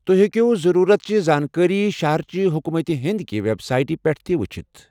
توہہِ ہیكِیو ضروُرتٕچہِ زانكٲری شہرٕچہِ حكوُمت کہ ہندکہ ویب سایٹس پیٹھ تہِ وُچھِتھ ۔